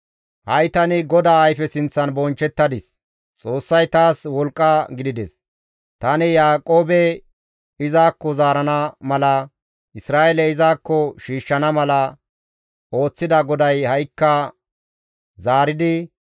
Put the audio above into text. Ha7i tani GODAA ayfe sinththan bonchchettadis; Xoossay taas wolqqa gidides; tani Yaaqoobe izakko zaarana mala, Isra7eele izakko shiishshana mala ooththida GODAY ha7ikka zaaridi,